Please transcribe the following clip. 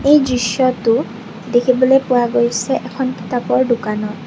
এই দৃশ্যটো দেখিবলৈ পোৱা গৈছে এখন কিতাপৰ দোকানত।